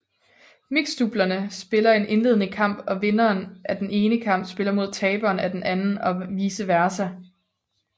Mixdoublerne spiller en indledende kamp og vinderen af den ene kamp spiller mod taberen af den anden og vice versa